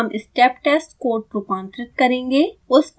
इसके लिए हम स्टेप टेस्ट कोड रूपांतरित करेंगे